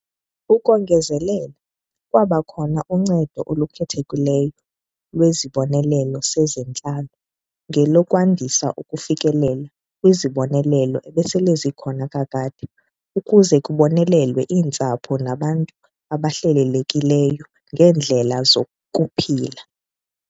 Ukongezelela, kwabakhona uncedo olukhethekileyo lwezibonelelo sezentlalo ngelokwandisa ukufikelela kwizibonelelo ebesele zikhona kakade, ukuze kubonelelwe iintsapho nabantu abahlelelekileyo ngeendlela zokuphila.